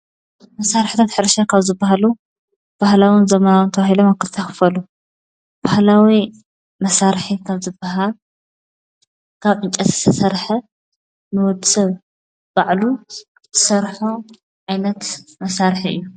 መሳርሕታት ሕርሻ ሓደ ባህላዊ መሳርሒ ኮይኑ ካብ እፅዋት ዝተሰረሐ ብ ኣብዑር ይሕረስ።